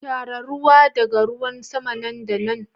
Tara ruwa daga ruwan sama nan da nan.